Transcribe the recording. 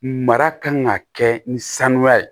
Mara kan ka kɛ ni sanuya ye